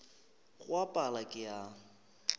go a pala ke a